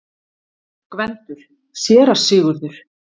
GVENDUR: Séra Sigurður!